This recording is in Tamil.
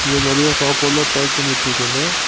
இங்க பாத்தீங்கன்னா சாப்பாட்லா பேக் பண்ணி வெச்சுருக்காங்க.